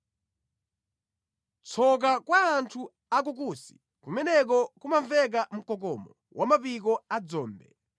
Tsoka kwa anthu a ku Kusi. Kumeneko kumamveka mkokomo wa mapiko a dzombe.